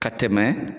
Ka tɛmɛ